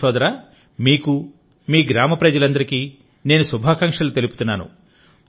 విపిన్ సోదరామీకు మీ గ్రామ ప్రజలందరికీ నేను శుభాకాంక్షలు తెలుపుతున్నాను